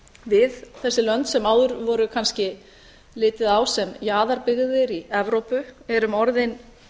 við þessi lönd sem áður var kannski litið á sem jaðarbyggðir í evrópu erum orðin